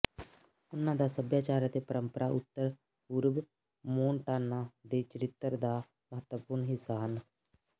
ਉਨ੍ਹਾਂ ਦਾ ਸੱਭਿਆਚਾਰ ਅਤੇ ਪਰੰਪਰਾ ਉੱਤਰ ਪੂਰਬ ਮੋਨਟਾਨਾ ਦੇ ਚਰਿੱਤਰ ਦਾ ਮਹੱਤਵਪੂਰਣ ਹਿੱਸਾ ਹਨ